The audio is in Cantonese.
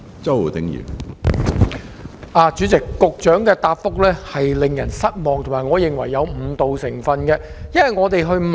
主席，局長的答覆令人失望，而我亦認為有誤導成分。